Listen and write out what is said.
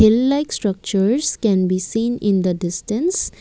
hill like structures can be seen in the distance.